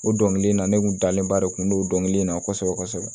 O dɔnkili in na ne kun dalenba de kun don kelen in na kosɛbɛ kosɛbɛ